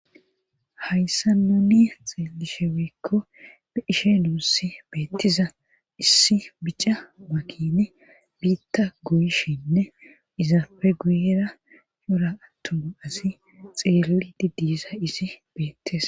Hayssa nuni xeelisheweekko be ishe nuussi beettiza issi bica makine biitta goyshinne izaafe guyera yora attuma asi xeelli diddiza isi beettes.